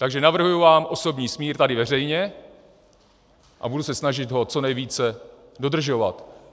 Takže navrhuji vám osobní smír tady veřejně a budu se snažit ho co nejvíce dodržovat.